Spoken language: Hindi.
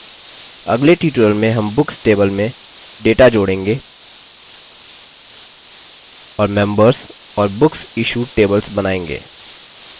अगले ट्यूटोरियल में हम बुक्स टेबल में डेटा जोड़ेंगे और मेम्बर्स और booksissuedबुक्स इश्यूड टेबल्स बनायेंगे